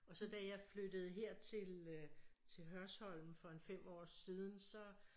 Og så da jeg flyttede her til øh til Hørsholm for en 5 år siden så